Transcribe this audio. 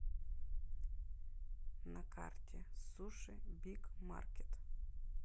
на карте сушибигмаркет